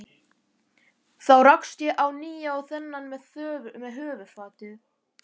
Þá rakst ég á ný á þennan með höfuðfatið.